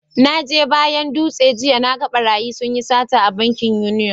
Na je bayan Dutse jiya, na gan barayi sun yi data a bankin union.